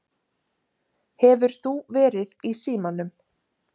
Hefur þú verið í símanum?